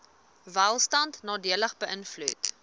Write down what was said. welstand nadelig beïnvloed